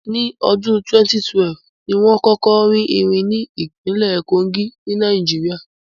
Ní ọdún 2012, ni wón kọ́kọ́ rí irin ní ìpínlẹ̀ Kogí, ní Nàìjíríà